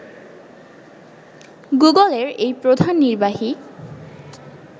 গুগলের এই প্রধান নির্বাহী